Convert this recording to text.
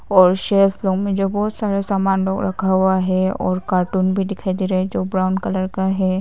और safe room में जो बहुत सारा सामान लोग रखा हुआ है और कार्टून भी दिखाई दे रहा है जो ब्राउन कलर का है।